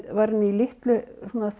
var hann í litlu